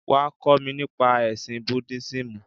Wá, kó mi nípa ẹ̀sìn Búdísímù.